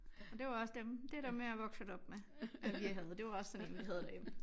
Og det var også dem det dem jeg er vokset op med at vi havde det var også sådan en vi havde derhjemme